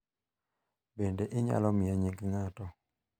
Bende inyalo miye nying ng'ato.